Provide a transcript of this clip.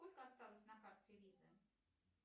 сколько осталось на карте виза